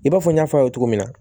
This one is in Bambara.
I b'a fɔ n y'a fɔ aw ye togo min na